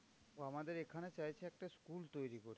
ও আমাদের এখানে চাইছে একটা school তৈরী করতে।